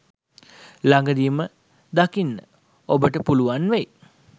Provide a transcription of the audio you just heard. ළඟදීම දකින්න ඔබට පුළුවන් වෙයි.